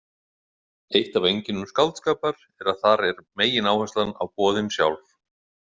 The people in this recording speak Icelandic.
Eitt af einkennum skáldskapar er að þar er megináherslan á boðin sjálf.